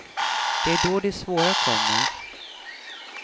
Det är då det svåra kommer.